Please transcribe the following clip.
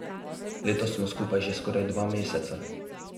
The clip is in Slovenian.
Letos smo skupaj že skoraj dva meseca.